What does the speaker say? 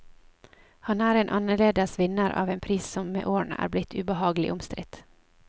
Han er en annerledes vinner av en pris som med årene er blitt ubehagelig omstridt.